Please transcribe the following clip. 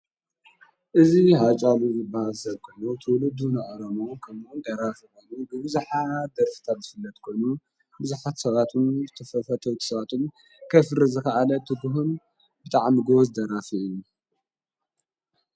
እዙ ሓጫሉ ዘበሃሰርኮኑ ትውልዱ ንዖሮሙ ኸምን ደራፍበኑ ብብዙኃ ደርፍታብ ዝፍለት ኮኑ ብዙኃት ሰባትን ተፈፈተው ትሰዋቱን ከፍሪ ዘኸዓለ ትቡህም ብጥዕምጐዝደራፊ እዩ።